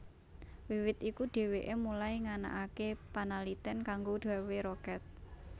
Wiwit iku dheweke mulai nganakake panaliten kanggo gawé roket